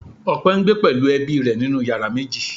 Ọpẹ ń gbé pẹ̀lú ẹbí rẹ nínú yàrá méjì